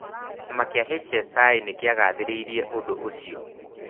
Kĩama kĩa HSI nĩ kĩagathĩrĩirie ũndũ ũcio.